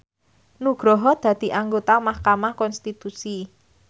Nugroho dadi anggota mahkamah konstitusi